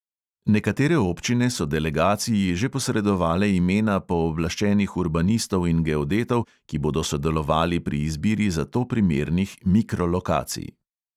Nekatere občine so delegaciji že posredovale imena pooblaščenih urbanistov in geodetov, ki bodo sodelovali pri izbiri za to primernih mikrolokacij.